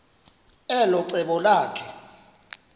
elo cebo lakhe